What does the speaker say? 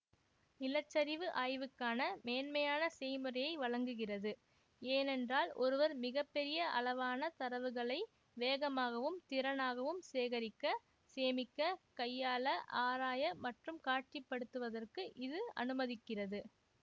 நிலச்சரிவு ஆய்வுக்கான மேன்மையான செய்முறையை வழங்குகிறது ஏனென்றால் ஒருவர் மிக பெரிய அளவான தரவுகளை வேகமாகவும் திறனாகவும் சேகரிக்க சேமிக்க கையாள ஆராய மற்றும் காட்சி படுத்துவதற்கு இது அனுமதிக்கிறது